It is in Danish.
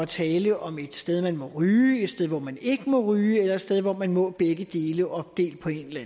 tale om et sted hvor man må ryge et sted hvor man ikke må ryge eller et sted hvor man må begge dele opdelt på en eller